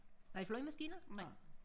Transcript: Nej flyvemaskiner? Nej